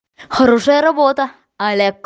хорошая работа олег